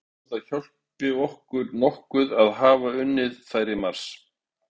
Ég veit ekki hvort að það hjálpi okkur nokkuð að hafa unnið þær í mars.